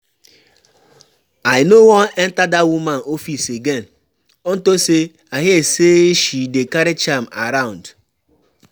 I no wan enter dat woman office again unto say I hear she dey carry charm around